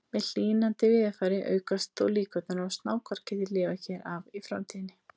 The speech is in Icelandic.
Með hlýnandi veðurfari aukast þó líkurnar á að snákar geti lifað hér af í framtíðinni.